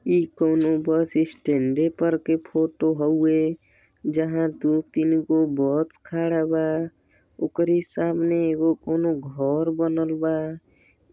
इ कोनो बस स्टैन्डे पर के फ़ोटो हउवे जहाँ दु तीन गो बस खड़ा बा। ओकरे सामने कोनो एगो घर बनल बा।